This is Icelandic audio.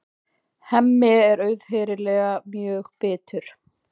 Hemmi er auðheyrilega mjög bitur.